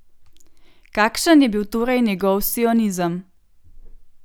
Kakšen je bil torej njegov sionizem?